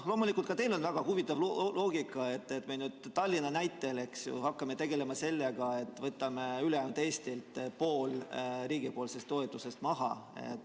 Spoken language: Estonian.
Loomulikult, ka teil on väga huvitav loogika, et me nüüd Tallinna näitel hakkame tegelema sellega, et võtame ülejäänud Eestilt poole riigi toetusest maha.